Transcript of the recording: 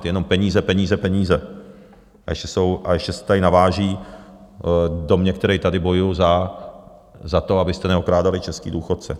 Ti jenom peníze, peníze, peníze, a ještě se tady naváží do mě, který tady bojuji za to, abyste neokrádali české důchodce.